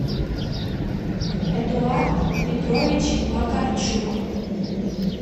эдуард петрович макарчук